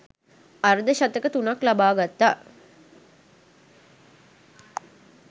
අර්ධ ශතක තුනක් ලබාගත්තා